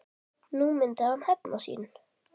Nú myndi hann hefna sín.